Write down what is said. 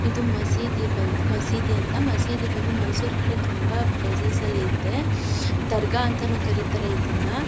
ಇದು ಮಸೀದಿ ಬಂದ್ ಮಸೀದಿ ಅಂತ ಮಸೀದಿ ಬಂದು ಮೈಸೂರ್ ಕಡೆ ತುಂಬಾ ಪ್ಲೇಸಸ್ ಲ್ಲಿದೆ ದರ್ಗಾ ಅಂತಾನೂ ಕರೀತಾರೆ ಇದನ್ನ.